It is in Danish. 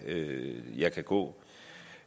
langt jeg kan gå